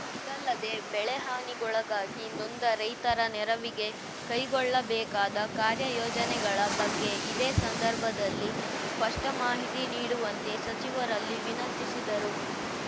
ಇದಲ್ಲದೇ ಬೆಳೆಹಾನಿಗೊಳಗಾಗಿ ನೊಂದ ರೈತರ ನೆರವಿಗೆ ಕೈಗೊಳ್ಳಬೇಕಾದ ಕಾರ್ಯಯೋಜನೆಗಳ ಬಗ್ಗೆ ಇದೇ ಸಂದರ್ಭದಲ್ಲಿ ಸ್ಪಷ್ಟಮಾಹಿತಿ ನೀಡುವಂತೆ ಸಚಿವರಲ್ಲಿ ವಿನಂತಿಸಿದರು